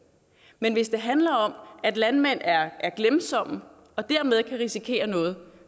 men hvis det handler om at landmænd er glemsomme og dermed kan risikere noget